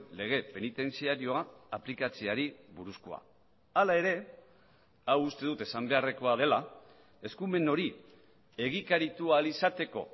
lege penitentziarioa aplikatzeari buruzkoa hala ere hau uste dut esan beharrekoa dela eskumen hori egikaritu ahal izateko